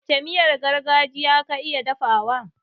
Wacce miyar gargajiya ka iya dafawa?